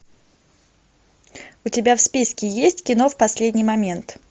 у тебя в списке есть кино в последний момент